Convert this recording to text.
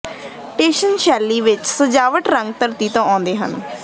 Tuscan ਸ਼ੈਲੀ ਵਿੱਚ ਸਜਾਵਟ ਰੰਗ ਧਰਤੀ ਤੋਂ ਆਉਂਦੇ ਹਨ